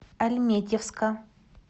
альметьевска